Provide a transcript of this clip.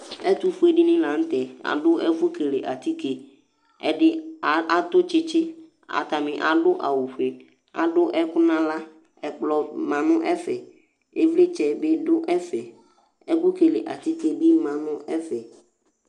ɛtu fue dini la nu tɛ adu ɛfu kele atike , ɛdi atu tsitsi, ata ni adu awu fue, adu ɛku nu aɣla, ɛkplɔ ma nu ɛfɛ, ivlitsɛ bi du ɛfɛ, ɛku kele atike bi ma nu ɛfɛ